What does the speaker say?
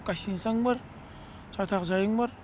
гостиницаң бар жатақ жайың бар